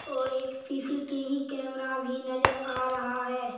और एक CCTV camera भी नजर आ रहा है।